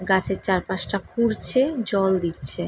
গাছের চার পাশ তা খুঁড়ছে জল দিচ্ছে।